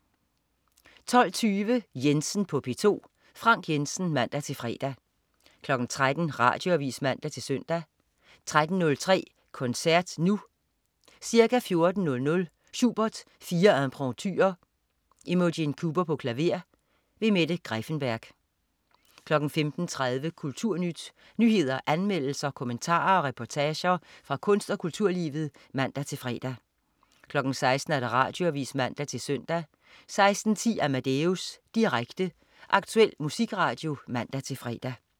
12.20 Jensen på P2. Frank Jensen (man-fre) 13.00 Radioavis (man-søn) 13.03 Koncert Nu. Ca. 14.00 Schubert: Fire Impromptuer. Imogen Cooper, klaver. Mette Greiffenberg 15.30 Kulturnyt. Nyheder, anmeldelser, kommentarer og reportager fra kunst- og kulturlivet (man-fre) 16.00 Radioavis (man-søn) 16.10 Amadeus. Direkte, aktuel musikradio (man-fre)